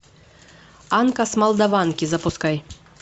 анка с молдаванки запускай